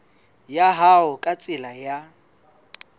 ya hao ka tsela ya